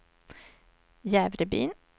Jävrebyn